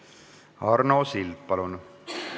Arno Sild, palun!